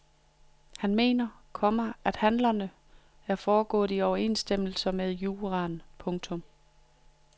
Han mener, komma at handlerne er foregået i overensstemmelse med juraen. punktum